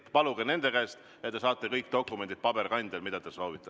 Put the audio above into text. Paluge nende käest ja te saate kõik soovitud dokumendid ka paberil.